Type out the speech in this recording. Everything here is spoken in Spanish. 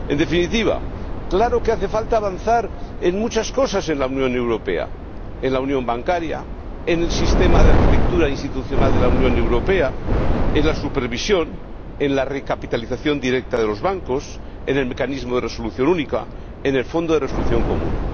En definitiva, claro que hace falta avanzar en muchas cosas en la Unión Europea en la unión bancaria, en el sistema de arquitectura institucional de la Unión Europea, en la supervisión, en la recapitalización directa de los bancos, en el mecanismo de resolución única, en el fondo de resolución común.